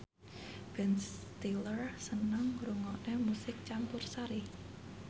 Ben Stiller seneng ngrungokne musik campursari